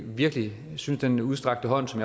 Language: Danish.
virkelig synes at den udstrakte hånd som